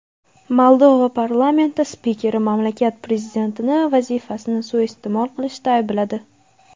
Moldova parlamenti spikeri mamlakat prezidentini vazifasini suiiste’mol qilishda aybladi.